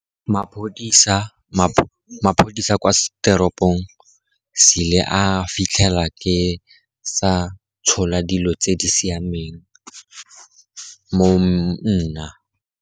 Maphodisa kwa teropong, sile a fitlhela ke sa tshola dilo tse di siameng mo nna.